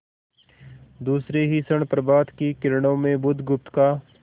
दूसरे ही क्षण प्रभात की किरणों में बुधगुप्त का